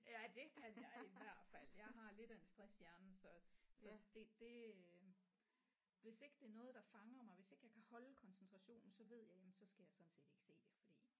Ja det kan jeg i hvert fald jeg har lidt af en stresshjerne så så det det øh hvis ikke det er noget der fanger mig hvis ikke jeg kan holde koncentrationen så ved jeg jamen så skal jeg sådan set ikke se det